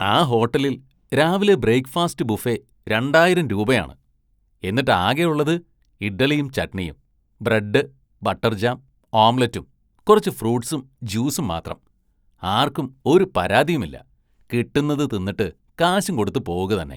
ആ ഹോട്ടലില്‍ രാവിലെ ബ്രേക്ഫാസ്റ്റ് ബുഫെ രണ്ടായിരം രൂപയാണ്, എന്നിട്ട് ആകെ ഉള്ളത് ഇഡ്‌ഡലിയും ചട്ണിയും, ബ്രഡ്, ബട്ടര്‍ ജാം, ഓംലറ്റും കുറച്ച് ഫ്രൂട്‌സും ജ്യൂസും മാത്രം, ആര്‍ക്കും ഒരു പരാതിയുമില്ല. കിട്ടുന്നത് തിന്നിട്ട് കാശും കൊടുത്ത് പോവുകതന്നെ.